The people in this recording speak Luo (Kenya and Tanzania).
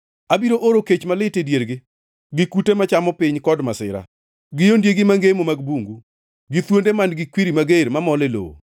Abiro oro kech malit e diergi, gi kute machamo piny kod masira, gi ondiegi mangemo mag bungu gi thuonde man-gi kwiri mager mamol e lowo.